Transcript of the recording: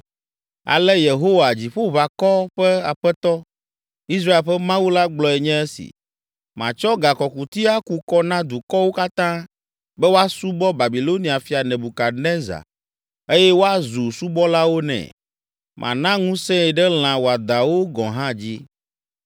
Ale Yehowa, Dziƒoʋakɔ ƒe Aƒetɔ, Israel ƒe Mawu la gblɔe nye esi: “Matsɔ gakɔkuti aku kɔ na dukɔwo katã be woasubɔ Babilonia fia Nebukadnezar eye woazu subɔlawo nɛ. Mana ŋusẽe ɖe lã wɔadãwo gɔ̃ hã dzi.” ’”